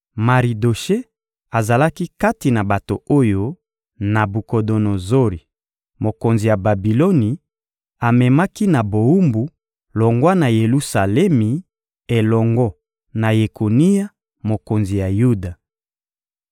Maridoshe azalaki kati na bato oyo Nabukodonozori, mokonzi ya Babiloni, amemaki na bowumbu, longwa na Yelusalemi, elongo na Yekonia, mokonzi ya Yuda.